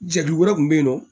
Jɛkulu wɛrɛ kun be yen nɔ